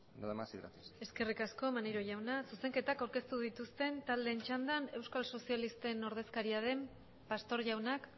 nada más y gracias eskerrik asko maneiro jauna zuzenketak aurkeztu dituzten taldeen txandan euskal sozialisten ordezkaria den pastor jaunak